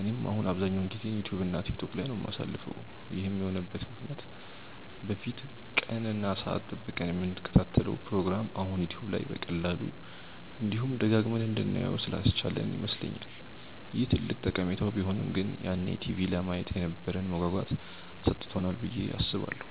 እኔም አሁን አብዛኛውን ጊዜዬን ዩትዩብ እና ቲክቶክ ላይ ነው የማሳልፈው። ይህም የሆነበት ምክንያት በፊት ቀን እና ሰአት ጠብቀን የምንከታተለውን ፕሮግራም አሁን ዩትዩብ በቀላሉ፤ እንዲሁም ደጋግመን እንድናየው ስላስቻለን ይመስለኛል። ይህ ትልቅ ጠቀሜታው ቢሆንም ግን ያኔ ቲቪ ለማየት የነበረንን መጓጓት አሳጥቶናል ብዬ አስባለሁ።